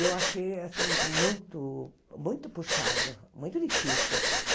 E eu achei, assim, mu muito muito puxado, muito difícil.